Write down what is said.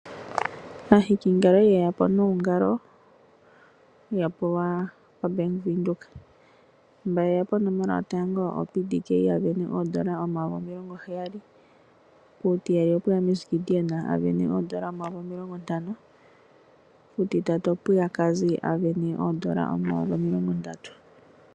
Aahikingalo oya li yeya po noongale yapewa kuBank Windhoek . Mba yeya ponomola yotango oPDK asindana N$70000, puutiyali opwe ya Miss Gideon asindana N$50000, puutitatu opwe ya Cazzy asindana N$30000.